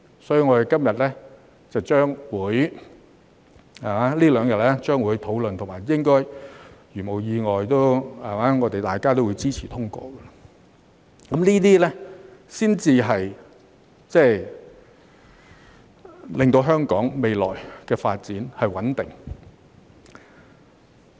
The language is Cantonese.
所以，我們這兩天將會進行討論，如無意外大家都會支持通過，這才能令香港未來的發展穩定。